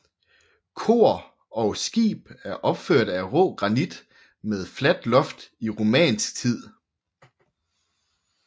Kor og skib er opførte af rå granit og med fladt loft i romansk tid